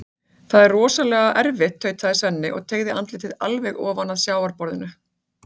Það er örugglega rosalega erfitt, tautaði Svenni og teygði andlitið alveg ofan að sjávarborðinu.